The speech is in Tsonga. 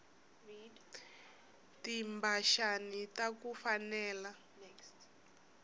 timphaxani taku fanela